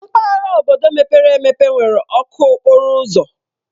Mpaghara obodo mepere emepe nwere ọkụ okporo ụzọ.